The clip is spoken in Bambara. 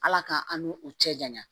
Ala ka an ni u cɛ janya